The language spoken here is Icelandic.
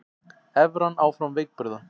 Evran áfram veikburða